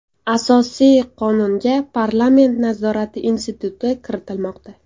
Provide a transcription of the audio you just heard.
Asosiy Qonunga parlament nazorati instituti kiritilmoqda.